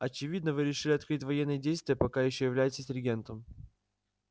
очевидно вы решили открыть военные действия пока ещё являетесь регентом